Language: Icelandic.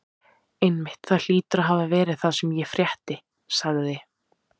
Einmitt, það hlýtur að hafa verið það sem ég frétti sagði